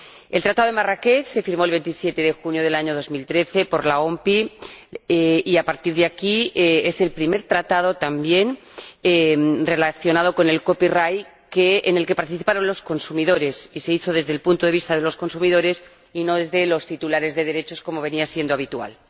El Tratado de Marrakech fue firmado el 27 de junio del año 2013 por la OMPI y, a partir de aquí, es el primer tratado también relacionado con el copyright en el que participaron los consumidores —se hizo desde el punto de vista de los consumidores y no desde el de los titulares de derechos, como venía siendo habitual—.